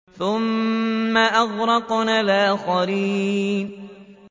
ثُمَّ أَغْرَقْنَا الْآخَرِينَ